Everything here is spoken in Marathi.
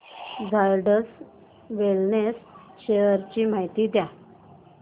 झायडस वेलनेस शेअर्स ची माहिती द्या